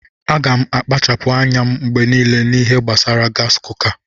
Aga m na-akpachapụ anya mgbe niile n'ihe gbasara gaasi kuka.